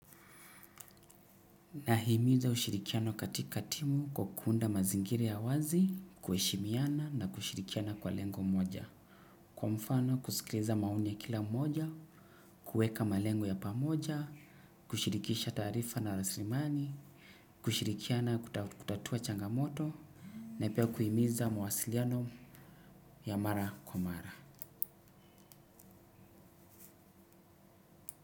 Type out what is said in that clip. Nahimiza ushirikiano katika timu kwa kuunda mazingiri ya uwazi, kuheshimiana na kushirikiana kwa lengo mmoja. Kwa mfano kusikiliza maoni ya kila mmoja, kuweka malengo ya pamoja, kushirikisha taarifa na rasilimani, kushirikiana kutatua changamoto, na pia kuhimiza mawasiliano ya mara kwa mara.